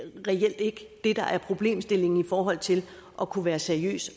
reelt ikke det der er problemstillingen i forhold til at kunne være seriøs